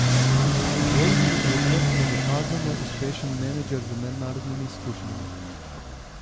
Vojmir Urlep je dokazano uspešen menedžer z mednarodnimi izkušnjami.